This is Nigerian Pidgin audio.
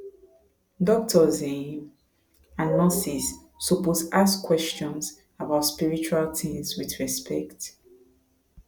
doctors um and nurses suppose ask questions about spiritual things with respect